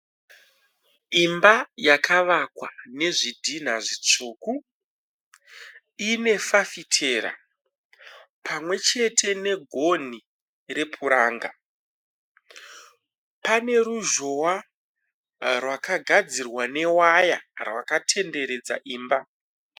Imba yakavakwa nezvidhinha zvitsvuku. Ine fafitera pamwechete negonhi repuranga. Pane ruzhowa rwakagadzirwa newaya rwakatenderedza imba.